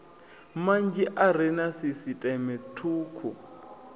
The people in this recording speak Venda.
manzhi are na sisiṱeme thukhu